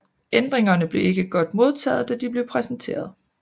Ændringerne blev ikke godt modtaget da de blev præsentert